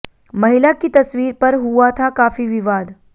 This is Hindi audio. महिला की तस्वीर पर हुआ था काफी विवाद